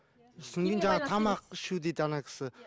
содан кейін жаңағы тамақ ішу дейді ана кісі